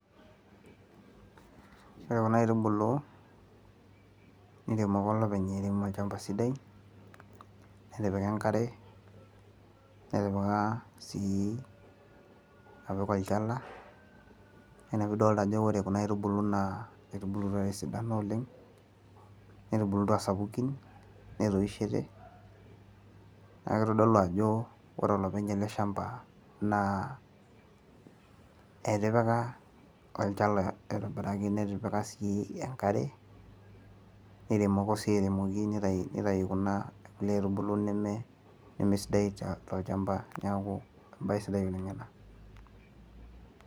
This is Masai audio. ore kuna aitubulu, idim ake olopeny airemo olchampa sidai, nitipika enkare, nitipika sii olchala, naa ina pee idolta ajo ore kuna aitubulu naa kisidan oleng netubulutua aa sapukin, netoishote, naa kitodolu ajo ore olopeny ele shamba naa etipika olchala aitobiraki netipika sii enkare, neiremoko sii aitibiraki nitayu kuna aitubulu neme sidai tolchampa, neeku ebae sidai ina.